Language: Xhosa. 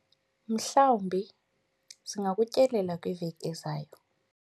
mhlawumbi singakutyelela kwiveki ezayo